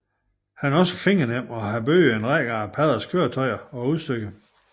Han er også fingernem og har bygget en række af paddernes køretøjer og udstyr